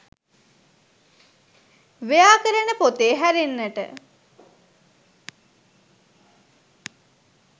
ව්‍යාකරණ පොතේ හැරෙන්නට